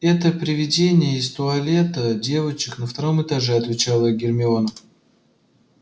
это привидение из туалета девочек на втором этаже ответила гермиона